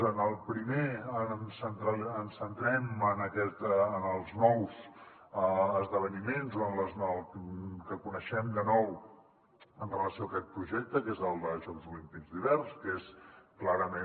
en el primer ens centrem en els nous esdeveniments o en el que coneixem de nou amb relació a aquest projecte que és el de jocs olímpics d’hivern que és clarament